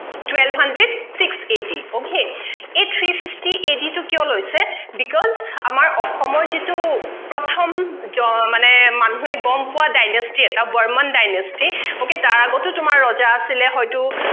twelve hundred six AD okay এই three fifty AD টো কিয় লৈছে because আমাৰ অসমৰ যিটো প্ৰথম জ মানে মানুহে গমপোৱা dynasty এটা বৰ্মণ dynasty তাৰ আগতো তোমাৰ ৰজা আছিলে হয়টো